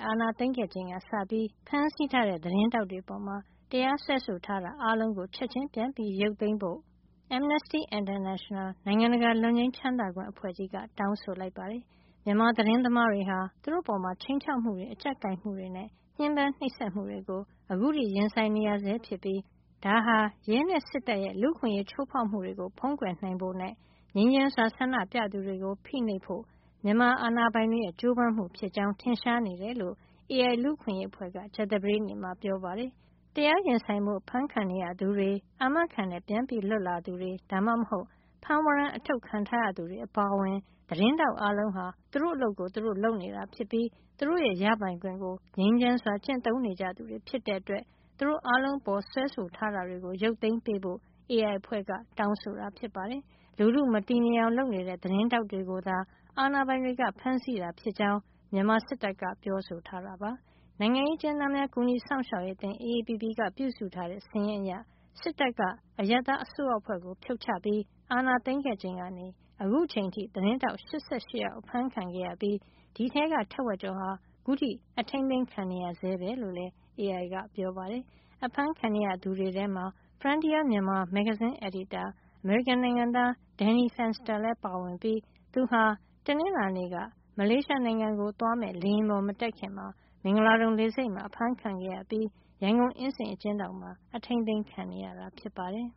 အာဏာသိမ်းခဲ့ချိန်ကစပြီး ဖမ်းဆီးထားတဲ့ သတင်းထောက်တွေ အပေါ် တရားစွဲဆိုထားတာ အားလုံးကို ချက်ချင်းပြန်ရုပ်သိမ်းပေါ်ဖို့ Amnesty International နိုင်ငံတကာလွတ်ငြိမ်းချမ်းသာခွင့် အဖွဲ့ကြီးက တောင်းဆိုလိုက်ပါတယ်။ မြန်မာသတင်းသမားတွေဟာ သူတို့အပေါ် ခြိမ်းခြောက်မှုတွေ အကြပ်ကိုင်မှုတွေနဲ့ ညှဉ်းပန်း နှိပ်စက်မှုတွေကို ခုထိ ရင်ဆိုင်နေရဆဲဖြစ်ပြီး ဒါဟာ ရဲနဲ့ စစ်တပ်ရဲ့ လူ့အခွင့်ရေးချိုးဖောက်မှုတွေကို ဖုံးကွယ်နိုင်ဖို့နဲ့ ငြိမ်းချမ်းစွာဆန္ဒပြသူတွေကို ဖိနှိပ်ဖို့နဲ့ မြန်မာစစ်အာဏာပိုင်တွေရဲ့ ကြိုးစားမှုဖြစ်ကြောင်း ထင်ရှားနေတယ်လို့ AI လူ့အခွင့်ရေးအဖွဲ့က ကြာသပတေးနေ့မှာ ပြောပါတယ်။ တရားရင်ဆိုင်ဖို့ ဖမ်းခံနေရသူတွေ၊ အာမခံနဲ့ပြန်လွတ်လာသူ ဒါမှမဟုတ် ဖမ်းဝရမ်း အထုတ်ခံထားရသူ တွေ အပါအဝင် သတင်းထောက်အားလုံးဟာ သူတို့အလုပ်ကို သူတို့လုပ်နေတာ ဖြစ်ပြီး သူတို့ရဲ့ရပိုင်ခွင့်ကို ငြိမ်းချမ်းစွာ ကျင့်သုံးနေကြသူတွေ ဖြစ်တဲ့ အတွက် သူတို့အားလုံး အပေါ် စွဲဆိုထားတာတွေကို ရုပ်သိမ်းဖို့ AI အဖွဲ့ တောင်းဆိုတာ ဖြစ်ပါတယ်။ လူထုမတည်ငြိမ်အောင် လုပ်နေတဲ့ သတင်းထောက်တွေကိုသာ အာဏာပိုင်တွေက ဖမ်းဆီးတာ ဖြစ်ကြောင်း မြန်မာစစ်တပ်က ပြောဆိုထားတာပါ။ နိုင်ငံရေးအကျဉ်းသားများ ကူညီစောင့်ရှောက်ရေးအသင်း AAPP ကပြုစုထားတဲ့ စာရင်းအရ စစ်တပ်က အရပ်သားအစိုးရအဖွဲ့ကို ဖြုတ်ချပြီးအာဏာသိမ်းခဲ့ချိန်ကနေ အခုအချိန် အထိ သတင်းထောက် ၈၈ ယောက် အဖမ်းခံရပြီး ဒီအထဲက ထက်ဝက်ကျော်ဟာ အခုထိ အထိန်းသိမ်းခံနေရဆဲပဲလို့လည်း AI က ပြောပါတယ်။ အဖမ်းခံနေရသူတွေထဲမှာ Frontier Myanmar မဂ္ဂဇင်းအယ်ဒီတာ အမေရိကန် နိုင်ငံသား Danny Fenster လည်းပါဝင်ပြီး သူဟာ တနင်္လာနေ့က မလေးရှားနိုင်ငံကို သွားမယ့် လေယာဉ်ပေါ် မတက်ခင် မင်္ဂလာဒုံလေဆိပ်မှာ အဖမ်းခံခဲ့ရပြီး ရန်ကုန်အင်းစိန်အကျဉ်းထောင်မှာ အထိန်းသိမ်းခံနေရတာ ဖြစ်ပါတယ်